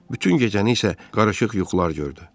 Bütün gecəni isə qarışıq yuxular gördü.